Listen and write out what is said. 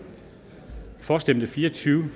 for stemte fire og tyve